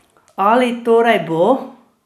Ali torej bo?